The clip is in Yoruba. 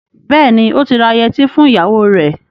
Bẹ́ẹ̀ni, ó ti ra yẹtí fún ìyàwó rẹ.